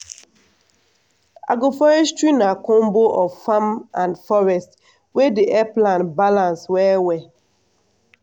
agroforestry na combo of farm and forest wey dey help land balance well well.